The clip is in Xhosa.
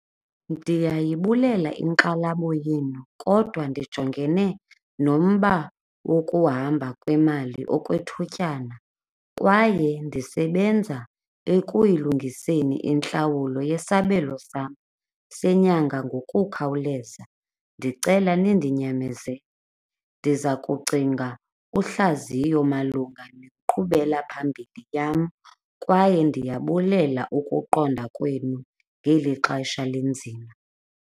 Ndiyayibulela inkxalabo yenu kodwa ndijongene nomba wokuhamba kwemali okwethutyana kwaye ndisebenza ekuyilungiseni intlawulo yesabelo sam senyanga ngokukhawuleza. Ndicela nindinyamezele, ndiza kucinga uhlaziyo malunga nenkqubela phambili yam kwaye ndiyabulela ukuqonda kwenu ngeli xesha linzima.